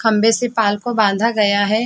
खम्बे से पाल को बांधा गया है।